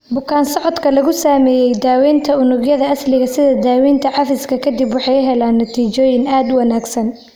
Bukaan-socodka lagu sameeyay daawaynta unugyada asliga sida daawaynta cafiska ka dib waxay heleen natiijooyin aad u wanaagsan.